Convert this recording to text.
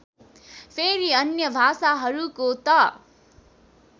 फेरि अन्य भाषाहरूको त